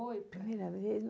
Primeira vez?